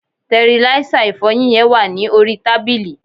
tẹriláísà ìfọyín yen wa ni orí tábìlì